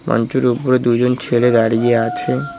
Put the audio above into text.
মঞ্চের ওপরে দুজন ছেলে দাঁড়িয়ে আছে।